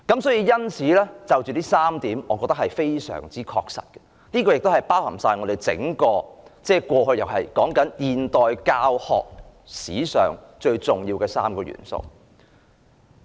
上述3點非常確實，包含了整體現代教學史上最重要的3個元素。